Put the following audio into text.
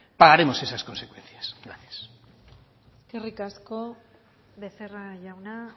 pagaremos esas consecuencias gracias eskerrik asko becerra jauna